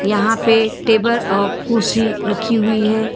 यहां पे टेबल और कुर्सी रखी हुई है।